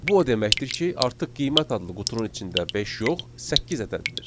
Bu o deməkdir ki, artıq qiymət adlı qutunun içində beş yox, səkkiz ədədidir.